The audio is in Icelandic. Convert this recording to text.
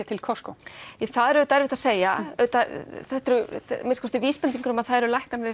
til Costco það er auðvitað erfitt að segja þetta eru að minnsta kosti vísbendingar um að það eru lækkanir